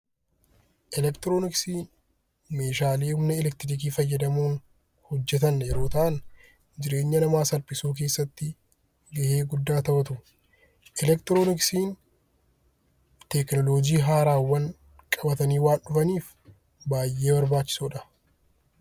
Elektirooniksiin meeshaalee humna elektirikii fayyadamuun hojjetan yeroo ta'an, jireenya namaa salphisuu keessatti gahee guddaa taphatu. Elektirooniksiin tekinoloojii haaraawwan qabatanii waan dhufaniif baay'ee barbaachisoo dha.